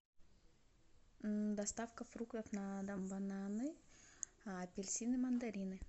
доставка фруктов на дом бананы апельсины мандарины